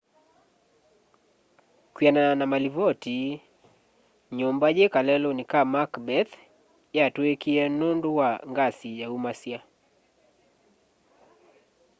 kwianana na malivoti nyumba yi kaleluni ka macbeth yatuikie nundu wa ngasi yaumasya